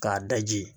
K'a daji